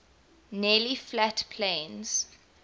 nearly flat plains